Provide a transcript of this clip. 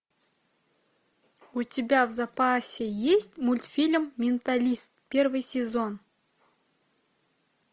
у тебя в запасе есть мультфильм менталист первый сезон